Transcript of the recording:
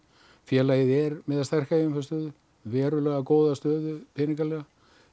félagið er með sterka eigin fé stöðu verulega góða stöðu peningalega